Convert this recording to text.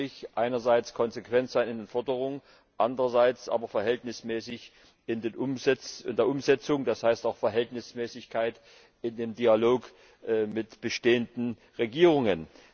Das heißt für mich, einerseits konsequent sein in den Forderungen, andererseits aber verhältnismäßig in der Umsetzung. Das heißt, auch Verhältnismäßigkeit in dem Dialog mit bestehenden Regierungen.